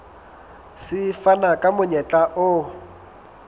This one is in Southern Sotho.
se fana ka monyetla o